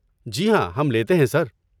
جی ہاں، ہم لیتے ہیں، سر۔